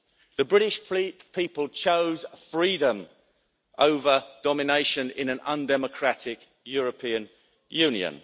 The British people chose freedom over domination in an undemocratic European Union.